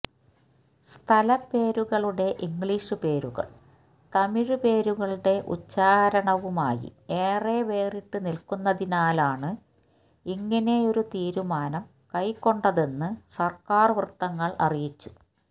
സ്ഥലപ്പേരുകളുടെ English പേരുകൾ തമിഴ് പേരുകളുടെ ഉച്ഛാരണവുമായി ഏറെ വേറിട്ട് നിൽക്കുന്നതിനാലാണ് ഇങ്ങനെയൊരു തീരുമാനം കൈക്കൊണ്ടതെന്ന് സർക്കാർ വൃത്തങ്ങൾ അറിയിച്ചു